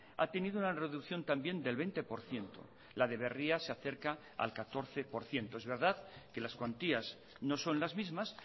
ha tenido una reducción también del veinte por ciento la de berria se acerca al catorce por ciento es verdad que las cuantías no son las mismas